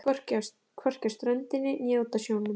Hvorki á ströndinni né úti á sjónum.